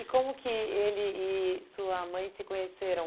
E como que ele e sua mãe se conheceram?